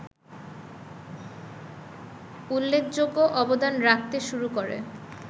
উল্লেখযোগ্য অবদান রাখতে শুরু করে